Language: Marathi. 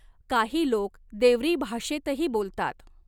काही लोक देवरी भाषेतही बोलतात.